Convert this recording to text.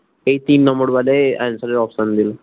এই তিন নম্বর বারে answer এর option দিলো